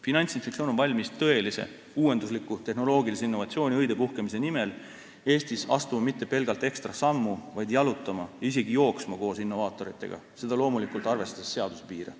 Finantsinspektsioon on valmis tõelise uuendusliku tehnoloogilise innovatsiooni õidepuhkemise nimel Eestis astuma mitte pelgalt ekstra sammu, vaid jalutama, isegi jooksma koos innovaatoritega, loomulikult arvestades seaduse piire.